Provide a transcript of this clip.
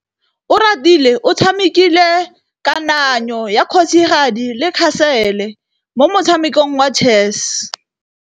Oratile o tshamekile kananyô ya kgosigadi le khasêlê mo motshamekong wa chess.